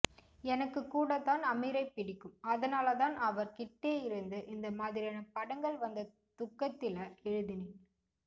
எனக்கு கூடத்தான் அமீரை பிடிக்கும் அதனாலதான் அவர் கிட்டேயிருந்து இந்த மாதிரியான படஙக்ள் வந்த துக்கத்தில எழுதினேன்